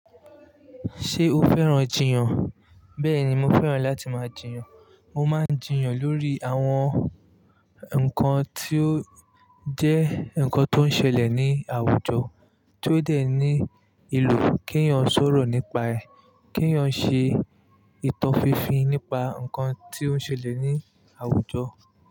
Ṣé o fẹ́ràn jiyàn? Bẹ́ẹ̀ni, mo fẹ́ràn láti máa jiyàn. Mo máa ń jiyàn lórí àwọn nǹkan tí ó jẹ́ ǹkan tó ń ṣẹlẹ̀ ní àwùjọ, tí ó dẹ̀ ní ìlò kí èèyàn sọ̀rọ̀ nípa ẹ̀, kí èèyàn ṣe ìtan fińfiń nípa ǹkan tí ó ń ṣẹlẹ̀ ní àwùjọ.